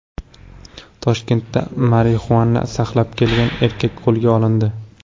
Toshkentda marixuana saqlab kelgan erkak qo‘lga olindi.